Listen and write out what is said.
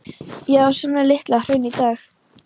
Já, svona er Litla-Hraun í dag.